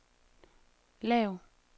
lav